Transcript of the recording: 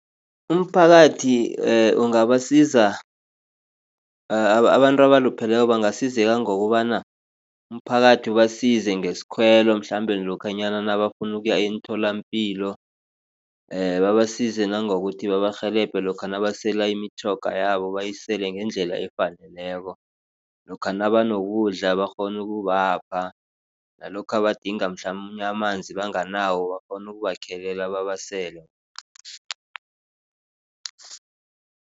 Umphakathi ungabasiza abantu abalupheleko bangasizeka ngokobana umphakathi ubasize ngesikhwelo mhlambe lokhanyana nabafuna ukuya emtholapilo babasize. Nangokuthi babarhelebhe lokha nabasela imitjhoga yabo bayisele ngendlela efaneleko. Lokha nabanokudla bakghone ukubapha. Nalokha badinga mhlamunye amanzi banganawo bakghone ukubakhelela babasele.